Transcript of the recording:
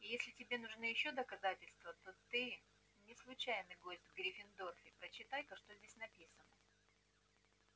и если тебе нужны ещё доказательства то ты не случайный гость в гриффиндоре прочитай-ка что здесь написано